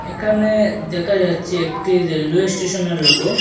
এখানে দেখা যাচ্ছে একটি রেলওয়ে স্টেশনে র লোগো ।